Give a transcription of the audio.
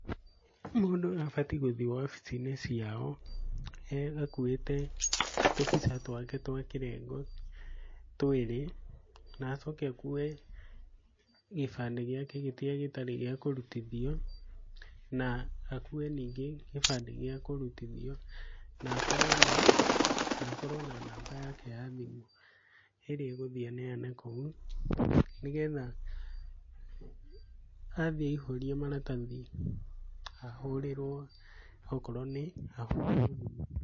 Mũndũ abatiĩ gũthiĩ wabici-inĩ ciao, akuwĩte tũbica twake twa kĩrengo, twĩrĩ. Na acoke akuwe gĩbandĩ gĩake kĩrĩa gĩtarĩ gĩa kũrutithio, na akuwe ningĩ gĩbandĩ gĩa kũrutithio. Na akorwo na, na akorwo na namba yake ya thimũ ĩrĩa egũthiĩ aneane kũu, nĩgetha athiĩ aihũria maratathi ahũrĩrwo okorwo nĩ